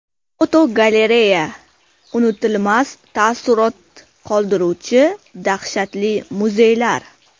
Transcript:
Fotogalereya: Unutilmas taassurot qoldiruvchi dahshatli muzeylar.